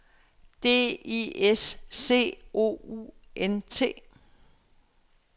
D I S C O U N T